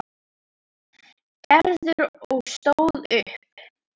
Gerður og stóð upp.